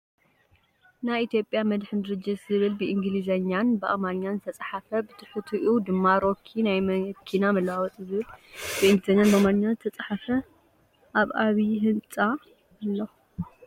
ናይ ኢትዮጵያ መድሕን ድርጅት ዝብል ብእንግልዝኛን ብኣማርኛን ዝተፅሓፈን ብትሑትኡ ድማ ሮኪ ናይ መኪና መለዋወጢዝብል ብእንግልዝኛን ብኣማርኛን ዝተፅሓፈን ኣብ ዓብይ ህንፃ ኣሎ።